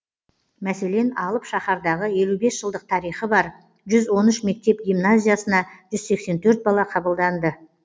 мәселен алып шаһардағы елу бес жылдық тарихы бар жүз он үш мектеп гимназиясына жүз сексен төрт бала қабылданды